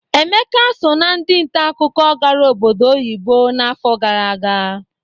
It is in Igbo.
Emeka so ná ndị nta akụkọ gara obodo oyibo n'afọ gara aga.